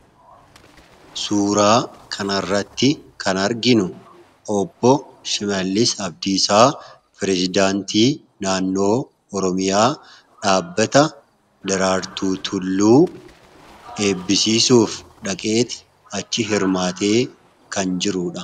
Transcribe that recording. suuraa kan arratti kan arginu shimallis abdiisaa pireezidaantii naannoo oromiyaa dhaabbata daraartuu tulluu eebbisisuuf dhaqeeti achi hirmaatee kan jirudha.